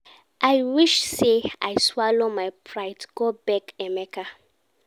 I wish say I swallow my pride go beg Emeka